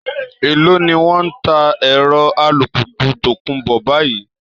Èló ni wọ́n ń ta ẹ̀rọ alùpùpù tòkunbọ̀ báyìí?